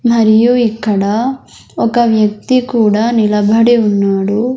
మరియు ఇక్కడ ఒక వ్యక్తి కూడా నిలబడి ఉన్నాడు.